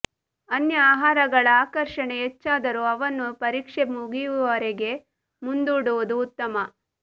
ಅನ್ಯ ಆಹಾರಗಳ ಆಕರ್ಷಣೆ ಹೆಚ್ಚಾದರೂ ಅವನ್ನು ಪರೀಕ್ಷೆ ಮುಗಿಯುವವರೆಗೆ ಮುಂದೂಡುವುದು ಉತ್ತಮ